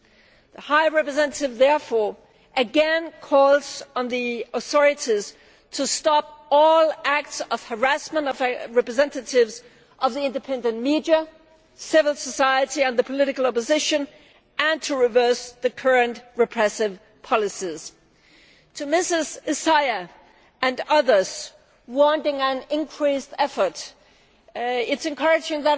The Vice President High Representative therefore again calls on the authorities to stop all acts of harassment of representatives of the independent media, civil society and the political opposition and to reverse the current repressive policies. To Ms Essayah and others who want an increased effort, I have some encouraging